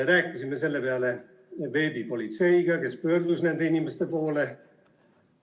Rääkisime selle peale veebipolitseiga, kes pöördus nende inimeste poole.